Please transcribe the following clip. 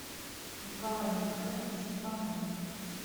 николай михайлович иванов